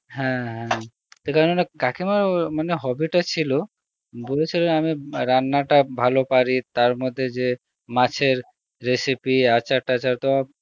হ্যাঁ হ্যাঁ কাকিমার মানে hobby টা ছিল বলেছিল আমি রান্না টা ভালো পারি তার মধ্যে যে মাছের recepie আচার টাচার তো